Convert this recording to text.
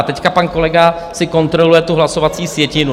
A teď pan kolega si kontroluje tu hlasovací sjetinu.